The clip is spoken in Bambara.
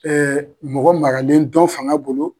mɔgɔ maralen dɔn faŋa bolo